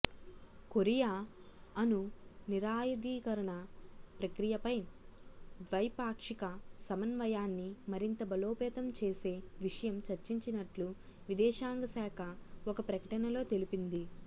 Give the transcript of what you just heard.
Korea అణు నిరాయుధీకరణ ప్రక్రియపై ద్వైపాక్షిక సమన్వయాన్ని మరింత బలోపేతం చేసే విషయం చర్చించినట్లు విదేశాంగశాఖ ఒక ప్రకటనలో తెలిపింది